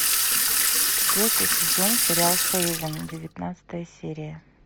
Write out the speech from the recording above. четвертый сезон сериал хейвен девятнадцатая серия